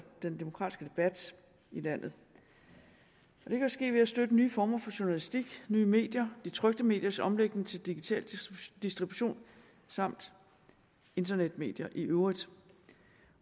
den demokratiske debat i landet det kan ske ved at støtte nye former for journalistik nye medier de trykte mediers omlægning til digital distribution samt internetmedier i øvrigt